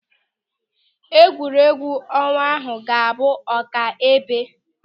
Egwuregwu ọnwa ahụ ga-abụ ọkaibe.